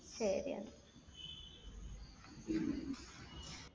ശരി എന്നാൽ.